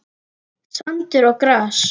Sandur og gras.